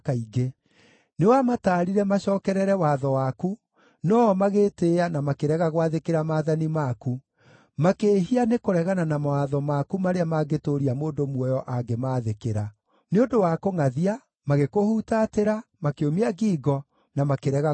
“Nĩwamataarire macookerere watho waku, no-o magĩĩtĩĩa na makĩrega gwathĩkĩra maathani maku. Makĩĩhia nĩkũregana na mawatho maku marĩa mangĩtũũria mũndũ muoyo angĩmaathĩkĩra. Nĩ ũndũ wa kũngʼathia, magĩkũhutatĩra, makĩũmia ngingo, na makĩrega gũkũigua.